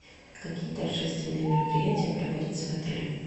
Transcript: какие торжественные мероприятия проводятся в отеле